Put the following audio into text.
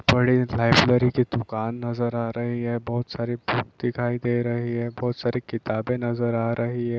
बड़ी लाइब्रेरी की दुकान नजर आ रही हे बोहोत सारी बुक दिखाई दे रही हे बोहोत सारी किताबें नजर आ रही हे ।